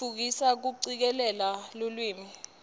tfutfukisa kucikelela lulwimi